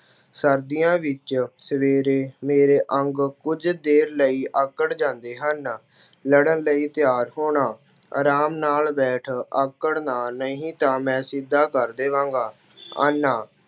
ਸਰਦੀਆਂ ਵਿੱਚ ਸਵੇਰੇ ਮੇਰੇ ਅੰਗ ਕੁੱਝ ਦੇਰ ਲਈ ਆਕੜ ਜਾਂਦੇ ਹਨ। ਲੜ੍ਹਨ ਲਈ ਤਿਆਰ ਹੋਣਾ- ਆਰਾਮ ਨਾਲ ਬੈਠ, ਆਕੜ ਨਾ, ਨਹੀਂ ਤਾਂ ਮੈਂ ਸਿੱਧਾ ਕਰ ਦੇਵਾਂਗਾ। ਆਨਾ